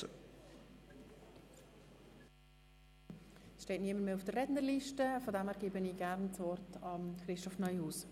Niemand steht mehr auf der Rednerliste, daher gebe ich Herrn Regierungsrat Neuhaus das Wort.